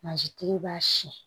Mansintigi b'a siyɛn